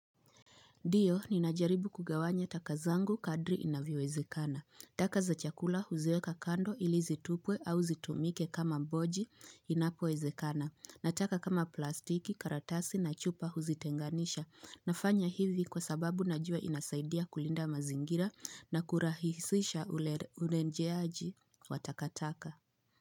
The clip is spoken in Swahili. Ndiyo, ninajaribu kugawanya taka zangu kadri inavyowezekana. Taka za chakula huziweka kando ili zitupwe au zitumike kama boji inapowezekana. Na taka kama plastiki karatasi na chupa huzitenganisha. Nafanya hivi kwa sababu najua inasaidia kulinda mazingira na kurahisisha urenjeaji wa takataka.